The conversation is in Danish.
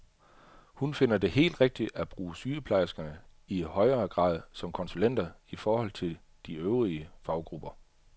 Hun finder det helt rigtigt at bruge sygeplejerskerne i højere grad som konsulenter i forhold til de øvrige faggrupper.